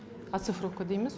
ацифровка дейміз